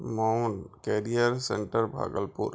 Mount Career Centre Bhagalpur.